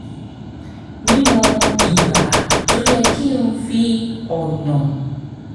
mímọ ìgbà tó yẹ kí n fi ọ̀nà